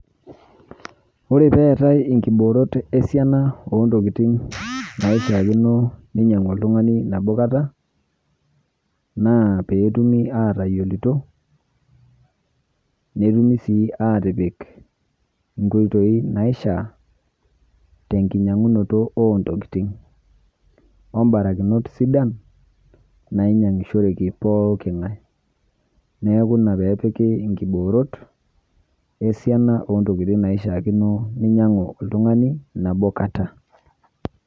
Ore peetai inkiboorot esiana ontokitin naishiakino ninyang'u oltung'ani nabokata naa peetumi atayolito netumi sii aatipik inkoitoi naishaa tenkinyang'unoto oontokitin ombarakinot sidan nainyang'ishoreki pooking'ai neaku ina peepiki inkiboorot esiana ontokitin naishiakino ninyang'u oltung'ani nabokata.